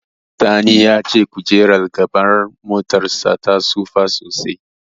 Sani ya ce kojerar gaban motarsa ta tsufa sosai.